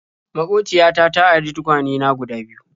Maƙociya ta ta ari tukwane na guda biyu.